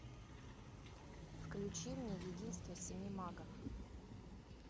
включи мне единство семи магов